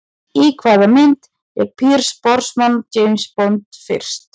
Í hvaða mynd lék Pierce Brosnan James Bond fyrst?